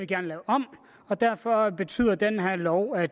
gerne lave om og derfor betyder den her lov at